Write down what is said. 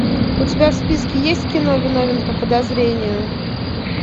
у тебя в списке есть кино виновен по подозрению